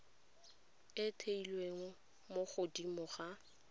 e theilwe mo godimo ga